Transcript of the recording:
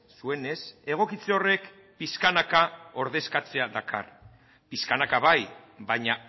zuenez egokitze horrek pixkanaka ordezkatzea dakar pixkanaka bai baina